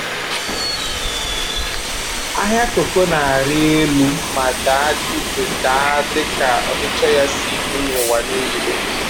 Ahịa kooko na-arị elu ma daa dị daa dị ka ọchịchọ ya si dị n'ụwa niile.